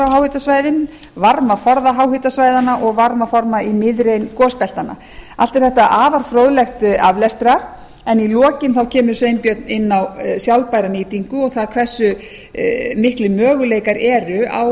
háhitasvæðin varmaforða háhitasvæðanna og varmaforða í miðrein gosbeltanna allt er þetta afar fróðlegt aflestrar en í lokin kemur sveinbjörn inn á sjálfbæra nýtingu og það hversu miklir möguleikar eru